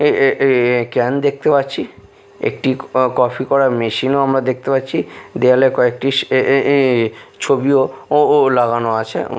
এ-এ-এ can দেখতে পাচ্ছি একটি ক-কফি করার মেশিন -ও আমরা দেখতে পাচ্ছি দেওয়ালে কয়েকটি এ-এ-এ ছবিও ও-ও লাগানো আছে উ।